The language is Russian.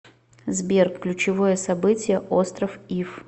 сбер ключевое событие остров иф